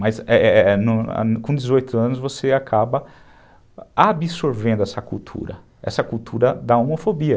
Mas, é é com dezoito anos você acaba absorvendo essa cultura, essa cultura da homofobia.